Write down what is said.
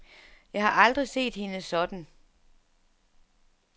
Jeg har aldrig set hende sådan.